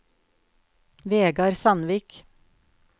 Vegar Sandvik